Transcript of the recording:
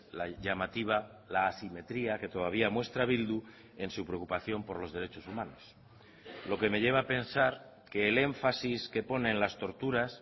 la llamativa la asimetría que todavía muestra bildu en su preocupación por los derechos humanos lo que me lleva a pensar que el énfasis que pone en las torturas